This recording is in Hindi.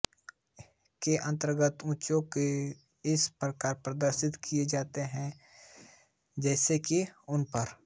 के अन्तर्गत उच्चावचों को इस प्रकार प्रदर्शित किया जाता है जैसे कि उन पर